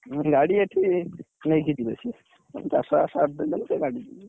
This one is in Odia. ହୁଁ ଗାଡି ଏଠି ନେଇକି ଯିବେ ସିଏ। ଉଁ ।